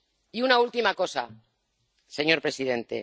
Y una última cosa, señor presidente.